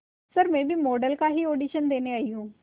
sir मैं भी model का ही ऑडिशन देने आई हूं